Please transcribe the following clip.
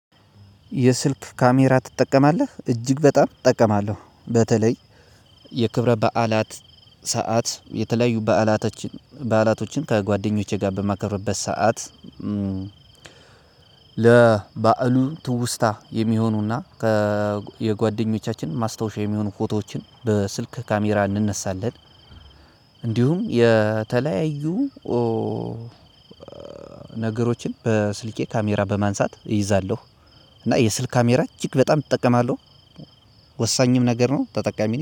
የስልክ ካሜራ ትጠቀማለህ እጅግ በጣም እጠቀማለሁ በተለይ የክብረ በዓላት ሰዓት የተለያዩ በዓላቶች በዓላቶችን ከጓደኞቼ ጋር በማከርበት ሰዓት ለባአሉ ትውስታ የሚሆኑና ከ የጓደኞቻችን ማስታወሻ የሚሆኑ ፎቶዎችን በስልክ ካሜራ እንነሳለን። እንዲሁም የተለያዩ ነገሮችን በስልኬ ካሜራ በማንሳት እይዛለሁ። እና የስልክ ካሜራ እጅግ በጣም እጠቀማለሁ። ወሳኝም ነገር ነው ተጠቃሚ ነኝ